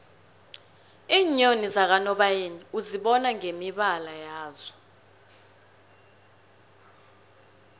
iinyoni zakanobayeni uzibona ngemibala yazo